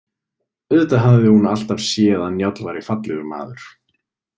Auðvitað hafði hún alltaf séð að Njáll væri fallegur maður.